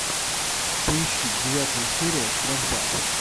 поищи девятая серия штрафбат